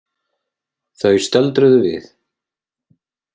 Þau stöldruðu við.